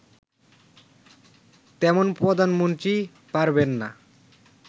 তেমন প্রধানমন্ত্রী পারবেন না